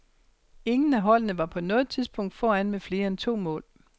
Ingen af holdene var på noget tidspunkt foran med flere end to mål.